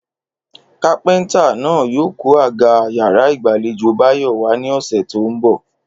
Kápé̩ntà náà yóò kó àga yàrá ìgbàlejò Báyò̩ wá ní ò̩sè̩ tó ń bò̩